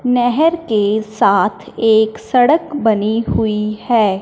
नहर के साथ एक सड़क बनी हुई है।